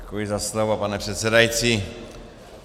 Děkuji za slovo, pane předsedající.